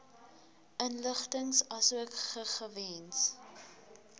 inligting asook gegewens